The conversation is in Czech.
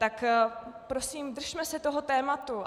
Tak prosím, držme se toho tématu.